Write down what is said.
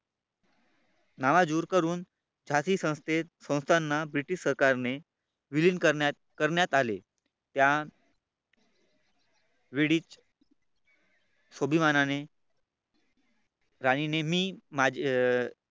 दूर करून झाशी संस्थेत संस्थांना British सरकारने विलीन करण्यात आले. त्या वेळीच स्वाभिमानाने राणी नेहमी अं मी